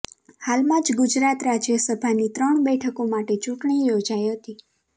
હાલમાં જ ગુજરાત રાજ્યસભાની ત્રણ બેઠકો માટે ચૂંટણી યોજાઈ હતી